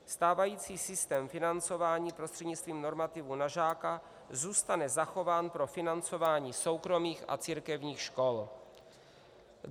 Stávající systém financování prostřednictvím normativů na žáka zůstane zachován pro financování soukromých a církevních škol.